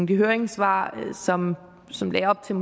de høringssvar som som lagde op til